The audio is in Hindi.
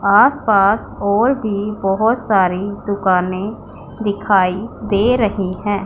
आस पास और भी बहोत सारी दुकाने दिखाई दे रही है।